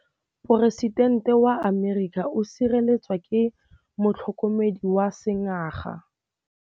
Poresitêntê wa Amerika o sireletswa ke motlhokomedi wa sengaga.